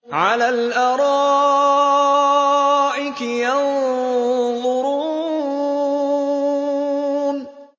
عَلَى الْأَرَائِكِ يَنظُرُونَ